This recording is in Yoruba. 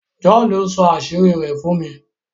John sọ àṣírí rẹ̀ fún mi.